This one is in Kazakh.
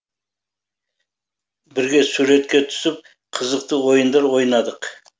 бірге суретке түсіп қызықты ойындар ойнадық